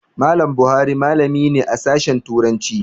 Mallam Buhari malami ne a Sashen Turanci.